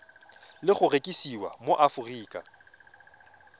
le go rekisiwa mo aforika